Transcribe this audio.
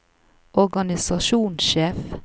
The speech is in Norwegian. organisasjonssjef